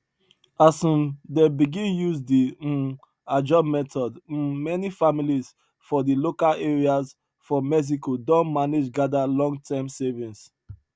as um dem begin use di um ajo method um many families for di local areas for mexico don manage gather lonterm savings